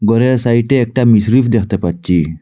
ঘরের সাইডে একটা মিছরুফ দেখতে পাচ্ছি।